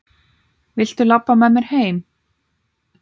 Viltu labba með mér heim?